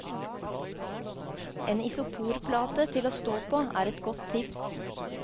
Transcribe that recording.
En isoporplate til å stå på, er et godt tips.